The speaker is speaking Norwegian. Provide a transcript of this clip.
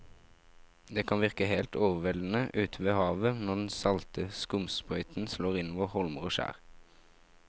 Det kan virke helt overveldende ute ved havet når den salte skumsprøyten slår innover holmer og skjær.